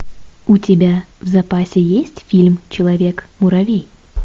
у тебя в запасе есть фильм человек муравей